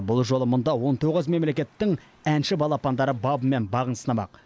бұл жолы мұнда он тоғыз мемлекеттің әнші балапандары бабы мен бағын сынамақ